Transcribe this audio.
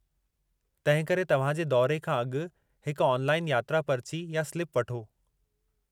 तंहिं करे, तव्हां जे दौरे खां अॻु हिकु ऑनलाइन यात्रा पर्ची या स्लिप वठो।